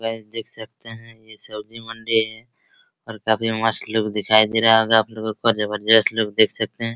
guys देख सकते हैं ये सब्जी मंडी है और काफी मस्त लुक दिखाई दे रहा होगा आप लोगो को और जबरजस्त लुक देख सकते हैं |